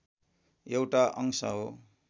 एउटा अंश हो